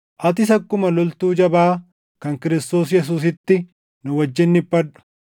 Atis akkuma loltuu jabaa kan Kiristoos Yesuusiitti nu wajjin dhiphadhu.